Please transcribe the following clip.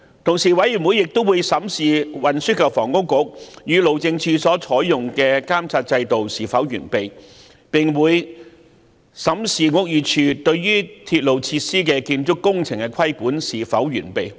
調查委員會亦會檢視運輸及房屋局與路政署所採用的監察制度是否完備，並會審視屋宇署對鐵路設施建築工程的規管是否完備。